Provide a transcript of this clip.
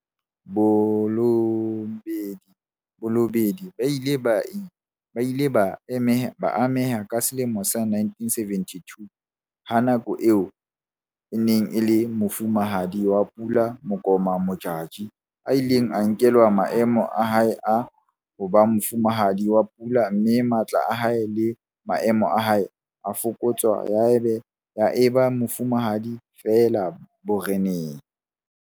Balobedu ba ile ba ameha ka selemo sa 1972 ha ka nako eo e neng e le Mofumahadi wa Pula Makoma Modjadji a ileng a nkelwa maemo a hae a ho ba Mofumahadi wa Pula mme matla a hae le maemo a hae a fokotswa ya eba mofumahadi feela boreneng.